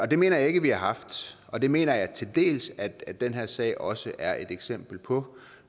det mener jeg ikke vi har haft og det mener jeg til dels at den her sag også er et eksempel på